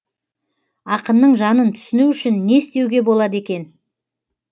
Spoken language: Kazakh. ақынның жанын түсіну үшін не істеуге болады екен